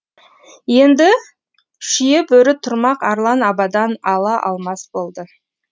енді шүйебөрі тұрмақ арлан абадан ала алмас болды